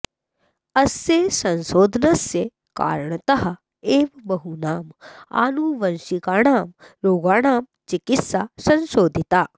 अस्य संशोधनस्य कारणतः एव बहूनाम् आनुवंशिकाणां रोगाणां चिकित्सा संशोधिता